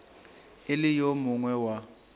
e le yo mongwe wa